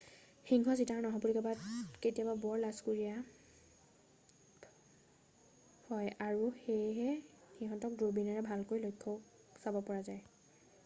সিংহ চিতা আৰু নাহৰফুটুকী বাঘ কেতিয়াবা বৰ লাজকুৰীয়া হয় আৰু সেয়ে সিহঁতক দূৰবীণেৰেহে ভালকৈ চাব পৰা যায়